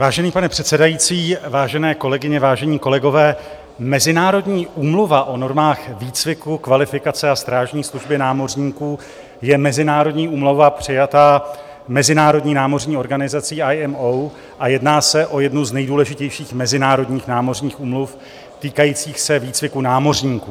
Vážený pane předsedající, vážené kolegyně, vážení kolegové, Mezinárodní úmluva o normách výcviku, kvalifikace a strážní služby námořníků je mezinárodní úmluva přijatá Mezinárodní námořní organizací IMO a jedná se o jednu z nejdůležitějších mezinárodních námořních úmluv týkajících se výcviku námořníků.